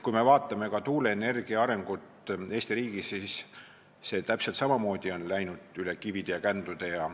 Kui me vaatame tuuleenergia arengut Eesti riigis, siis näeme, et see on täpselt samamoodi läinud üle kivide ja kändude.